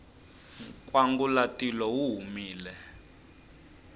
nkwangulatilo wu humile